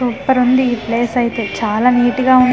super ఉంది ఈ place అయితే చాలా నీట్ గా ఉన్--